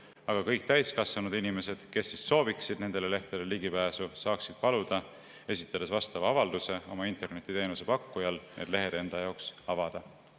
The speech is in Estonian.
Aga kõik täiskasvanud inimesed, kes sooviksid nendele lehtedele ligipääsu, saaksid paluda, esitades vastava avalduse oma internetiteenuse pakkujale, et need lehed nende jaoks avataks.